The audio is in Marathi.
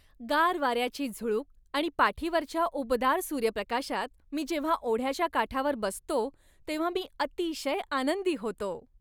गार वाऱ्याची झुळूक आणि पाठीवरच्या उबदार सूर्यप्रकाशात मी जेव्हा ओढ्याच्या काठावर बसतो तेव्हा मी अतिशय आनंदी होतो.